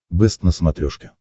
бэст на смотрешке